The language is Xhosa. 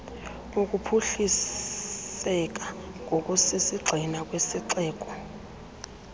wokuphuhliseka ngokusisigxina kwesixeko